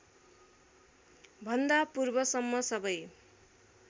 भन्दा पूर्वसम्म सबै